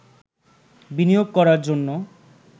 বিনিয়োগ করার জন্য